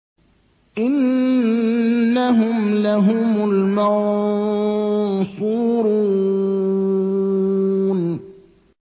إِنَّهُمْ لَهُمُ الْمَنصُورُونَ